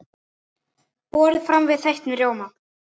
Borið fram með þeyttum rjóma.